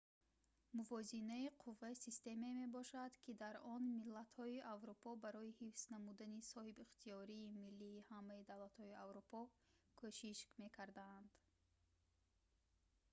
мувозинаи қувва системае мебошад ки дар он миллатҳои аврупо барои ҳифз намудани соҳибихтиёрии миллии ҳамаи давлатҳои аврупо кӯшиш мекарданд